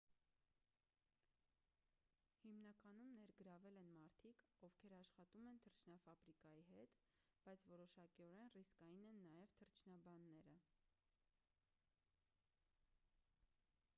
հիմնականում ներգրավել են մարդիկ ովքեր աշխատում են թռչնաֆաբրիկայի հետ բայց որոշակիորեն ռիսկային են նաև թռչնաբանները